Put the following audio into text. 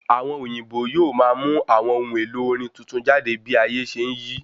Àwọn òyìnbó yóò máa mú àwọn ohun èlò orin tuntun jáde bí ayé ṣe n yí